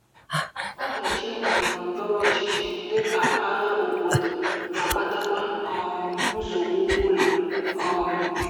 Ọdachi ndọrọ ndọrọ ọchịchị, dị ka agha obodo, na-akpatakwa um nsogbu ụlọ um.